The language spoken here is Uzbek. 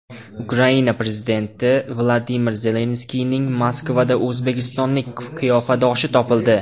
Ukraina prezidenti Vladimir Zelenskiyning Moskvada o‘zbekistonlik qiyofadoshi topildi.